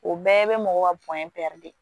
O bɛɛ bɛ mɔgɔw ka de